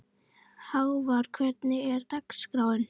Hávar, hvernig er dagskráin?